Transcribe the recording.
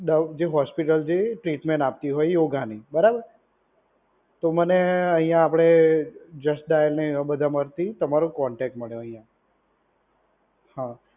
Doubt જે hospital જે treatment આપતી હોય યોગાની. બરાબર? તો મને અહીયાં આપડે જસ્ટ ડાયલ ને એમાં બધાં માંથી તમારો કોન્ટેક્ટ મળ્યો અહીયાં. હા.